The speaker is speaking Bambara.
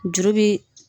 Juru bi